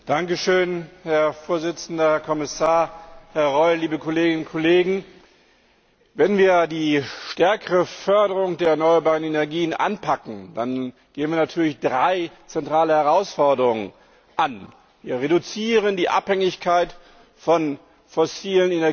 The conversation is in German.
Herr Präsident, Herr Kommissar, Herr Reul, liebe Kolleginnen und Kollegen! Wenn wir die stärkere Förderung der erneuerbaren Energien anpacken, gehen wir natürlich drei zentrale Herausforderungen an Wir reduzieren die Abhängigkeit von fossilen Energiequellen